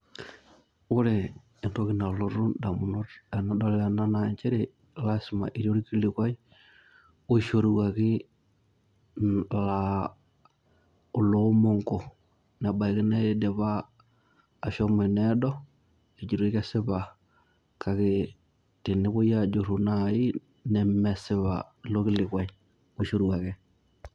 Ore entoki nalotu indamunot tenadol ena naa njere, lasima ketii olkilikwai oishoruaki laa oloomonko. Nebaiki nidipa ashomo eneedo, ejitoi kesipa. Kake tenepoi ajurru nai, nemesipa ilo kilikwai oishoruaki